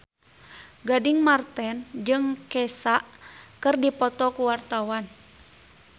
Gading Marten jeung Kesha keur dipoto ku wartawan